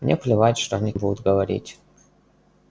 мне плевать что они будут говорить